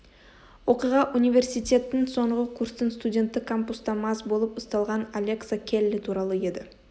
оқиға университеттің соңғы курстың студенті кампуста мас болып ұсталған алекса келли туралы еді